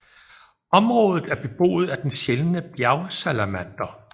Området er beboet af den sjældne bjergsalamander